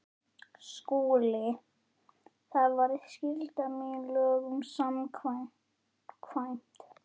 SKÚLI: Það var skylda mín lögum samkvæmt.